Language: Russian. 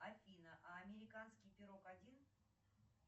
афина а американский пирог один